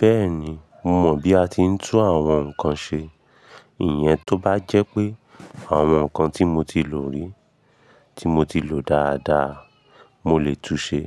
Bẹ́ẹ̀ni, mo mọ̀ bí a ti ń tú àwọn nǹkan ṣe. Ìyẹn tó bá jẹ́ pé àwọn nǹkan tí mo ti lò rí, tí mo ti lò dáadáa, mo lè tú ṣẹ.